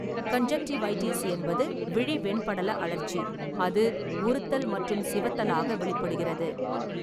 Conjunctivitis என்பது விழி வெண்படல அழற்சி, அது உறுத்தல் மற்றும் சிவத்தலாக வெளிப்படுகிறது.